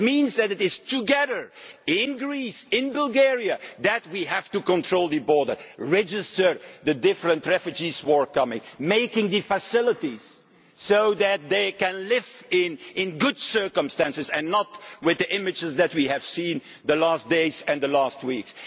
That means that it is together in Greece, in Bulgaria that we have to control the border, register the different refugees who are coming, establishing facilities so that they can live in good circumstances and not as in the images that we have seen in recent days and recent weeks.